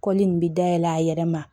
Kɔlili in bɛ dayɛlɛ a yɛrɛ ma